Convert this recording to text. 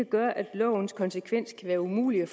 gøre at lovens konsekvenser kan være umulige